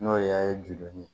N'o y'a ye joona